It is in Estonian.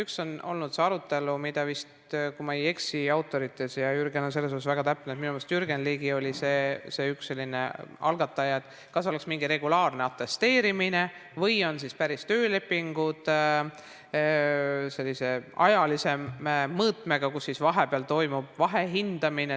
Üks võimalus on olnud see arutelu – kui ma ei eksi autoritega, Jürgen on selles väga täpne, minu meelest Jürgen Ligi oli üks selle algatajaid –, kas võiks olla mingi regulaarne atesteerimine või oleksid päris töölepingud sellise ajalise mõõtmega, et vahepeal toimub vahehindamine.